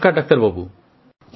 নমস্কার ডাক্তারবাবু